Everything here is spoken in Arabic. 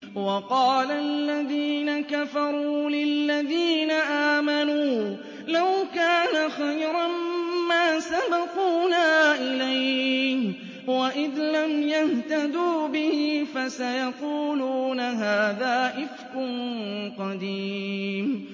وَقَالَ الَّذِينَ كَفَرُوا لِلَّذِينَ آمَنُوا لَوْ كَانَ خَيْرًا مَّا سَبَقُونَا إِلَيْهِ ۚ وَإِذْ لَمْ يَهْتَدُوا بِهِ فَسَيَقُولُونَ هَٰذَا إِفْكٌ قَدِيمٌ